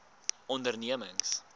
ondernemings